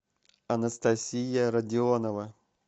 анастасия родионова